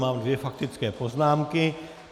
Mám dvě faktické poznámky.